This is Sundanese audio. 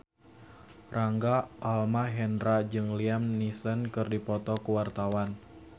Rangga Almahendra jeung Liam Neeson keur dipoto ku wartawan